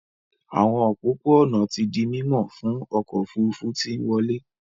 Àwọn òpópó-ònà tí dì mimo fún ọkọ òfurufú tí nwọle.